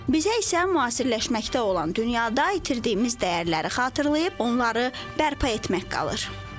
Bizə isə müasirləşməkdə olan dünyada itirdiyimiz dəyərləri xatırlayıb onları bərpa etmək qalır.